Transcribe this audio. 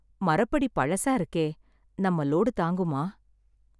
மரப்படி பழசா இருக்கே, நம்ம லோடு தாங்குமா?